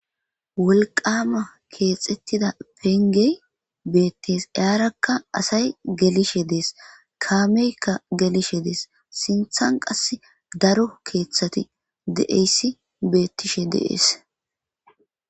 Wolqama kexetida pengey betes haraka asay gelishe des kameyka gelishe des kame sintha daro kethati betishe de'es